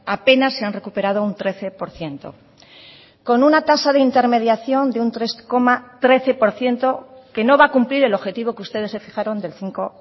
apenas se han recuperado un trece por ciento con una tasa de intermediación de un tres coma trece por ciento que no va a cumplir el objetivo que ustedes se fijaron del cinco